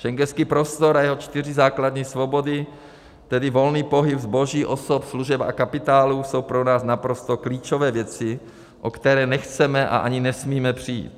Schengenský prostor a jeho čtyři základní svobody, tedy volný pohyb zboží, osob, služeb a kapitálu, jsou pro nás naprosto klíčové věci, o které nechceme a ani nesmíme přijít.